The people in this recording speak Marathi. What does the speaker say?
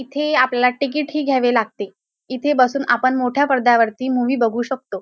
इथे आपल्याला टिकीट ही घ्यावे लागते इथे बसून आपण मोठ्या पडद्यावरती मूवी बघू शकतो.